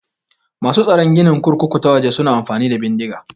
Masu tsaron ginin kurkuku ta waje suna amfani da bindiga.